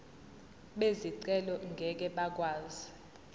bezicelo ngeke bakwazi